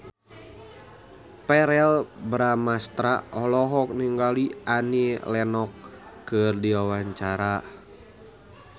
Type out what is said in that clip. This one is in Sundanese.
Verrell Bramastra olohok ningali Annie Lenox keur diwawancara